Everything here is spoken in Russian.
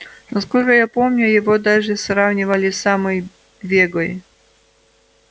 насколько я помню его даже сравнивали с самой вегой